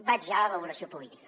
vaig ja a la valoració política